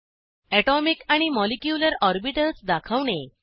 atomic आणि molecular orbitals दाखवणे